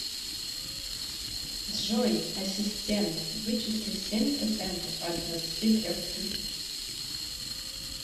джой ассистент вычисли семь процентов от двадцати трех тысяч